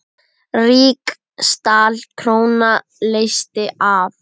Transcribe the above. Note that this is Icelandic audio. Ríksdal króna leysti af.